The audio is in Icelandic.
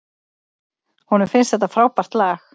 Honum finnst þetta frábært lag.